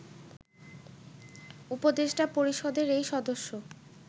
উপদেষ্টা পরিষদের এই সদস্য